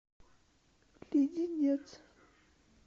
леденец